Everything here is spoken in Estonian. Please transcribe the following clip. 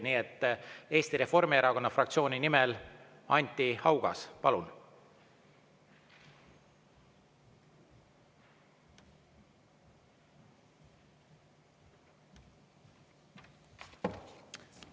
Nii et Eesti Reformierakonna fraktsiooni nimel Anti Haugas, palun!